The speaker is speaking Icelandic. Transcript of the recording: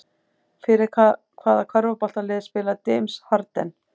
Fyrir hvaða körfuboltalið spilar James Harden?